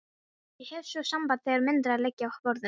Ég hef svo samband þegar myndirnar liggja á borðinu.